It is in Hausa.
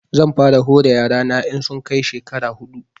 Zan fara hore yara na in sun kai shekara huɗu